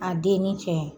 A den ni cɛ